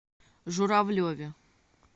журавлеве